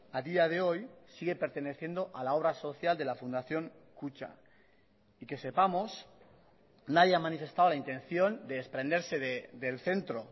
a día de hoy sigue perteneciendo a la obra social de la fundación kutxa y que sepamos nadie ha manifestado la intención de desprenderse del centro